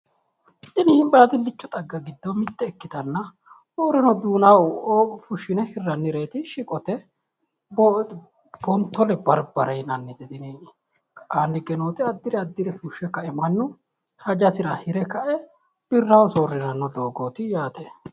Tini baadillicho xagga giddo mitte ikkitanna kurino duunaho fushshine hirrannireeti shiqote woleno honfole barbare yinannite tini ka'aanni higge nooti addire addire mannu fushshe ka"e hajasira hire ka'e birraho soorriranno doogooti yaate